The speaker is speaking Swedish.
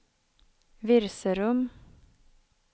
Virserum